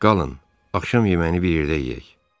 Qalın, axşam yeməyini bir yerdə yeyək.